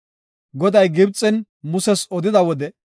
Goday Gibxen Muses odida wode,